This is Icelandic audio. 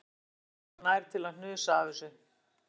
Hún færði sig varlega nær til að hnusa af þessu